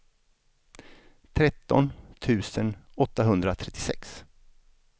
tretton tusen åttahundratrettiosex